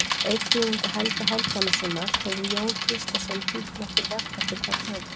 Auk þýðinga Helga Hálfdanarsonar hefur Jón Gíslason þýtt nokkur verk eftir hvern höfund.